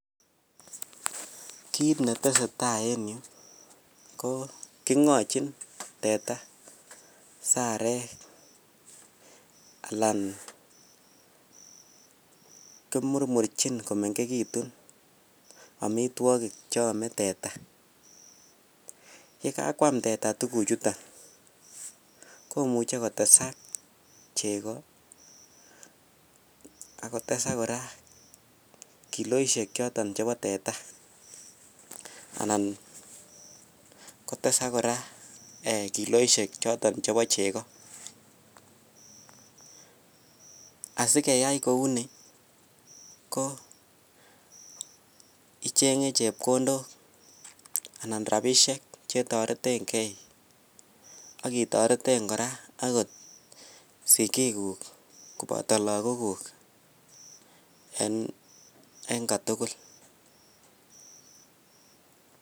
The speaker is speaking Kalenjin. Kiit ne tesetai en yu ko, kingochin teta sarek alan kimurmurchin komengekitun amitwogik che ome teta, ye kakwam teta tukuchuton komuchi kotesak chego akotesak kora kiloisiek choton chebo teta, anan kotesak kora kiloisiek choton chebo chego, asikeyai kouni ko, ichenge chepkondok anan rabiisiek che toretenkei akitoreten kora akot sikikuk koboto lagokuk en kotugul.